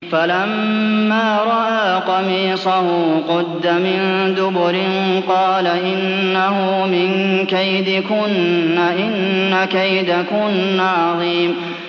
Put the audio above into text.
فَلَمَّا رَأَىٰ قَمِيصَهُ قُدَّ مِن دُبُرٍ قَالَ إِنَّهُ مِن كَيْدِكُنَّ ۖ إِنَّ كَيْدَكُنَّ عَظِيمٌ